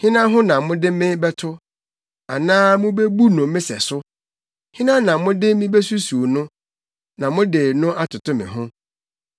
“Hena ho na mode me bɛto, anaa mubebu no me sɛso? Hena na mode me besusuw no, na mode no atoto me ho?